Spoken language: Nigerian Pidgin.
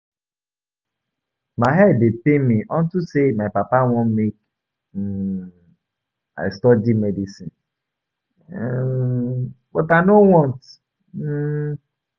My head dey pain me unto say my papa wan make um I study medicine um but I no want um